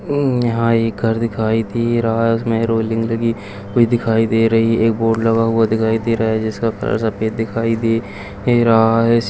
यहां एक घर दिखाई दे रहा है इसमें रोलिंग लगी हुई दिखाई दे रही है एक बोर्ड लगा हुआ दिखाई दे रहा हैजिसका कलर सफेद दिखाई दे रहा है।